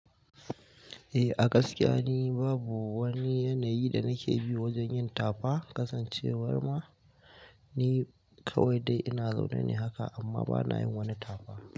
Eh, a gaskiya ni babu wani yanayi da nake bi wajen yin tafa kasancewar ma ni dai kawai dai ina zaunane haka amma banayin wani.